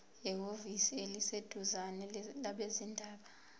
ehhovisi eliseduzane labezindaba